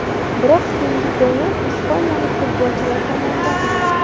Biroq keyingi gollar ispaniyalik futbolchilar tomonidan urildi.